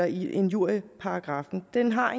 i injurieparagraffen den har